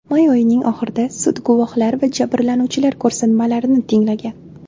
May oyining oxirida sud guvohlar va jabrlanuvchilar ko‘rsatmalarini tinglagan .